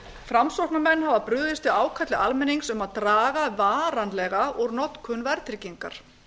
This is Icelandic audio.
framsóknarmenn hafa brugðist við ákalli almennings um að draga varanlega úr notkun verðtryggingar